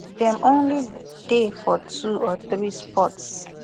dem only dey for two or three spots